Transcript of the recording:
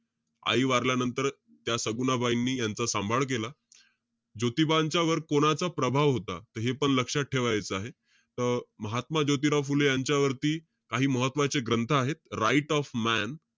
आई वारल्यानंतर त्या सगुणाबाईंनी यांचा सांभाळ केला. ज्योतीबांच्या वर कोणाचा प्रभाव होता? त हेपण लक्षात ठेवायचं आहे. त महात्मा ज्योतिराव फुले यांच्यावरती काही महत्वाचे ग्रंथ आहेत. Right of man,